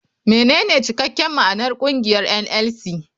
Menene cikakken ma'anar kungiyar NLC.